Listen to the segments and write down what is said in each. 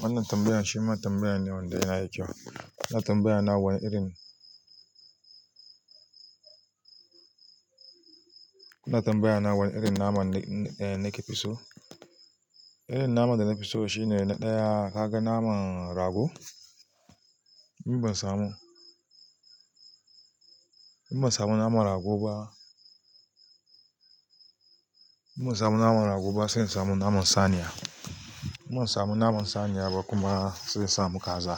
Wannan tambayan shi ma tambaya ne wanda yayi da kyau. Ana tambaya na wai. Wannan tambaya na wane irin naman da nake fi so? Irin naman da nafi so shi ne na ɗaya, ka ga naman rago? In ban samu naman rago ba in ban samu naman rago ba sai in samu naman saniya. In ban samu naman saniya ba kuma sai in samu kaza.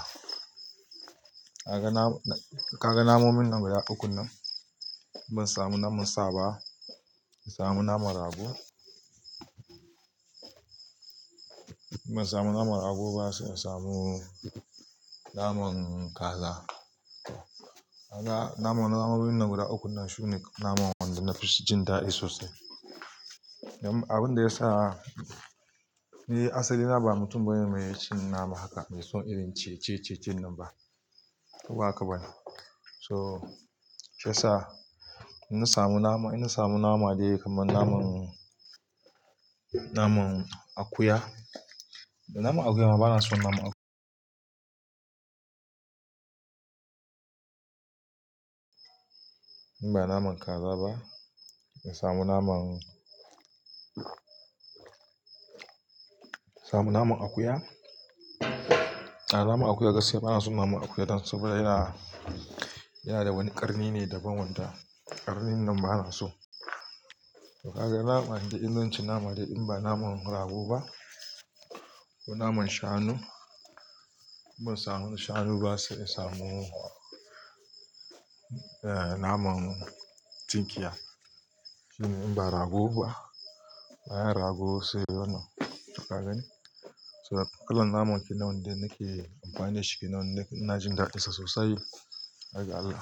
Ka ga namonin nan guda uku nan? In ban samu naman sa ba, in samu naman rago. In ban samu naman rago ba sai in samu naman kaza. Na momin nan guda uku nan shine naman wanda nafi jin daɗi sosai. Abin da ya sa ni asali na ba mutum bane mai cin nama haka mai son irin ciye-ciye nan ba. To haka bane so sai yasa. To sai sa ina samu nama dai kamar naman akuya. Da naman akuya ma bana son naman akuya. In ba naman kaza ba, ina samu naman akuya. A'a naman akuya gaskiya bana son naman akuya don saboda yana da wani ƙarni ne daban wanda ƙarnin nan bana so. To bayan kwanaki in zan ci nama dai in ba naman rago ba ko naman shanu. In ban samu shanu ba sai in samu naman tinkiya. In ban rago ba, hayan rago sai ya na. To haka ne. Duka wannan namun ki na wanda nake amfani da shi, ki na wanda naji darinsa sosai, haka Allah.